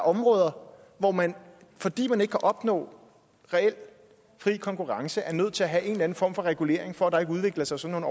områder hvor man fordi man ikke kan opnå reel fri konkurrence er nødt til at have en eller anden form for regulering for at der ikke udvikler sig sådan